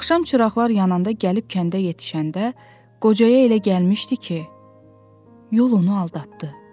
Axşam çıraqlar yananda gəlib kəndə yetişəndə qocaya elə gəlmişdi ki, yol onu aldatdı.